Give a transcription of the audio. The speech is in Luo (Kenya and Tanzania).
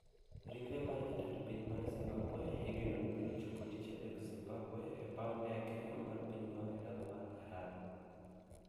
Ringre mar jatend piny mar Zimbabwe igeno ni biro chopo tich adek zimbambwe. e paw ndege mar pinyno e dala mar Harar.